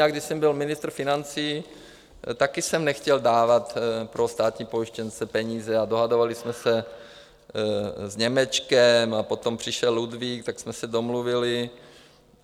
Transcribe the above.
Já když jsem byl ministr financí, taky jsem nechtěl dávat pro státní pojištěnce peníze a dohadovali jsme se s Němečkem, a potom přišel Ludvík, tak jsme se domluvili.